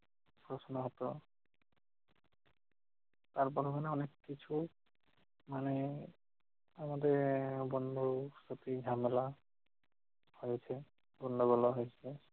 প্রশ্ন হতো। তার বর্ণনায় অনেক কিছু মানে আমাদের গন্ডগোল সাথে ঝামেলা রয়েছে। পূর্ণ বলা হয়েছে।